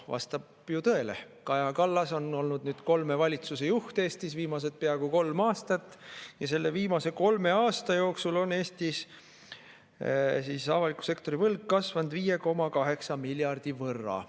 Vastab tõele: Kaja Kallas on olnud nüüd kolme valitsuse juht Eestis viimased peaaegu kolm aastat ja selle viimase kolme aasta jooksul on Eestis avaliku sektori võlg kasvanud 5,8 miljardi võrra.